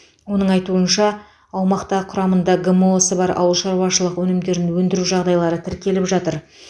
оның айтуынша аумақта құрамында гмо сы бар ауылшаруашылық өнімдерін өндіру жағдайлары тіркеліп жатыр